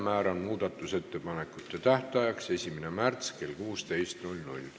Määran muudatusettepanekute tähtajaks 1. märtsi kell 16.